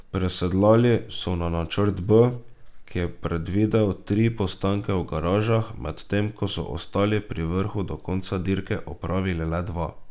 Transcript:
Presedlali so na načrt B, ki je predvidel tri postanke v garažah, medtem ko so ostali pri vrhu do konca dirke opravili le dva.